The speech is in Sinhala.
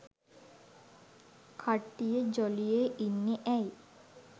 කට්ටිය ජොලියෙ ඉන්නෙ ඇයි?